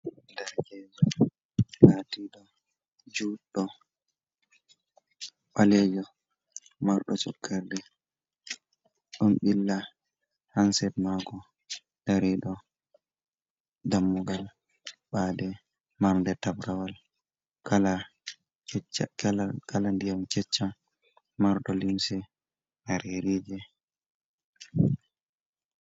Ɗerkejo latiɗo juɗɗo, ɓalejo, marɗo cokkarde ɗon ɓilla hansed mako, dari ɗo, dammugal bade, marde tabrawal kala ndiyam cecca, marɗo lymse marerije.